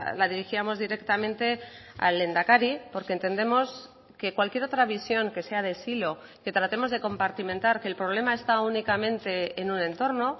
la dirigíamos directamente al lehendakari porque entendemos que cualquier otra visión que sea de silo que tratemos de compartimentar que el problema está únicamente en un entorno